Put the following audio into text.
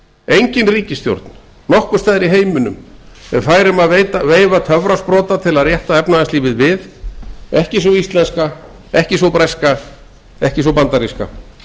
engin ríkisstjórn nokkurs staðar í heiminum er fær um að veifa töfrasprota til að rétta efnahagslífið við ekki sú íslenska ekki sú breska og ekki sú bandaríska